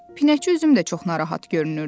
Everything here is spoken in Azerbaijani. Pinəçi Üzüm də çox narahat görünürdü.